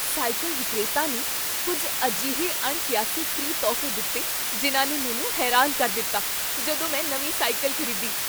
Cycle ਵਿਕਰੇਤਾ ਨੇ ਕੁੱਝ ਅਜਿਹੇ ਅਣਕੀਆਸੇ ਫ੍ਰੀ ਤੋਹਫ਼ੇ ਦਿੱਤੇ ਜਿਨ੍ਹਾਂ ਨੇ ਮੈਨੂੰ ਹੈਰਾਨ ਕਰ ਦਿੱਤਾ ਜਦੋਂ ਮੈਂ ਨਵੀਂ ਸਾਈਕਲ ਖ਼ਰੀਦੀ।